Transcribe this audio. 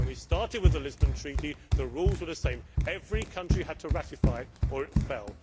When we started with the Lisbon Treaty, the rules were the same every country had to ratify it or it fell.